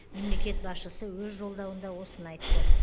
мемлекет басшысы өз жолдауында осыны айтты